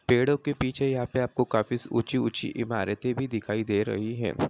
पेड़ों के पीछे यहाँ पे आपको काफी स ऊंची-ऊंची इमारतें भी दिखाई दे रही हैं।